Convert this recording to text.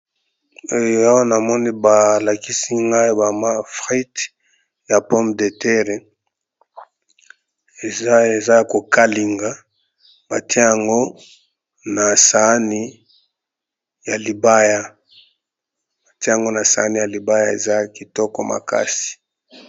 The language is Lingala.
oyo yaa na moni balakisi ngai bama frid ya pompe de terre eza kokalinga batiango na saani ya libaya eza kitoko makasi